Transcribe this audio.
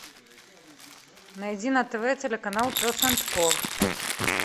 найди на тв телеканал пес энд ко